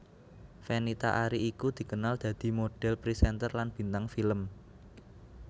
Fenita Arie iku dikenal dadi modhél presenter lan bintang film